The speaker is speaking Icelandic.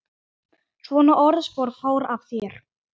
Svona orðspor fór af þér.